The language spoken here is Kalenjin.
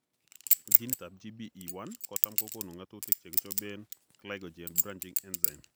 Genit ab GBE1 kotam kokoonu ng'atutik chekichobeen glycogen branching enzyme